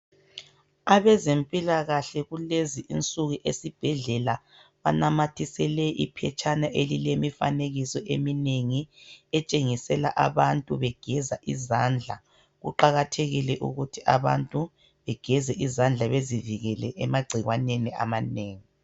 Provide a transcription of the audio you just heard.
Abazempilakahle kulezi insuku esibhedlela banamathisele iphetshana elilemifanekiso eminengi etshengisela abantu begeza izandla, kuqakathekile ukuthi abantu begeze izandla bezivikele emagcikwaneni amanengi.